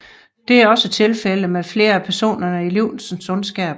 Det er også tilfældet med flere af personerne i Livsens Ondskab